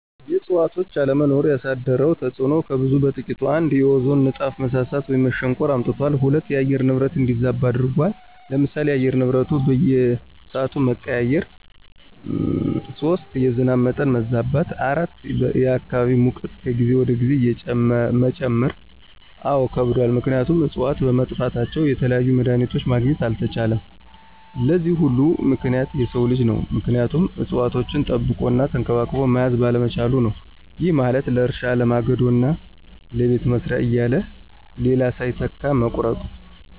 የእዕፅዋቶች አለመኖር ያሳደረው ተፅዕኖ ከብዙ በጥቂቱ፦ ፩) የኦዞን ንጣፍ መሳሳት ወይም መሸንቆር አምጥቷል። ፪) የአየር ንብረት እንዲዛባ አድርጎታል። ለምሳሌ፦ የአየር ንብረቱ በየስዓቱ መቀያየር። ፫) የዝናብ መጠን መዛባት። ፬) የአካባቢ ሙቀት ከጊዜ ወደ ጊዜ መጨመር። አዎ ከብዷል ምክንያቱም እፅዋቶች በመጥፋታቸው የተለያዩ መድሀኒቶችን ማግኘት አልተቻለም። ለዚህ ሁሉ ምክንያት የሰው ልጅ ነው ምክንያቱም እፅዋቶችን ጠብቆ እና ተንከባክቦ መያዝ ባለመቻሉ ነው። ይህ ማለት ለእርሻ፣ ለማገዶ እና ለቤት መስሪያ እያለ ሌላ ሳይተካ መቁረጡ።